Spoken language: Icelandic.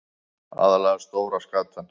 Aðallega stóra skatan.